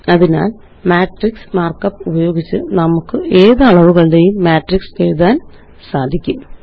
അതിനാല് matrix markup ഉപയോഗിച്ച് നമുക്ക് ഏത് അളവുകളുടെയും മാട്രിക്സുകള് എഴുതാന് സാധിക്കും